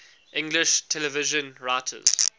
english television writers